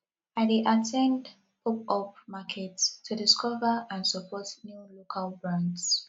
i dey at ten d popup markets to discover and support new local brands